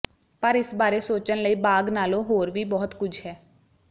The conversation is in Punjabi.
ਪਰ ਇਸ ਬਾਰੇ ਸੋਚਣ ਲਈ ਬਾਗ ਨਾਲੋਂ ਹੋਰ ਵੀ ਬਹੁਤ ਕੁਝ ਹੈ